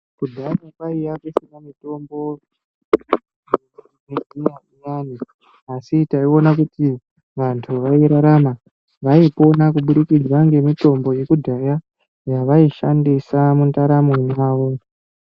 Kudhaya kwaiya kusina mitombo yechiyungu iyani, asi taiona kuti vantu vairararama .Vaipona ngemitombo yekudhaya, yavaishandisa mundaramo mwavo.